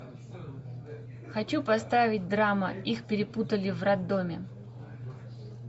хочу поставить драма их перепутали в роддоме